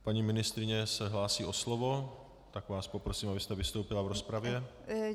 Paní ministryně se hlásí o slovo, tak vás poprosím, abyste vystoupila v rozpravě.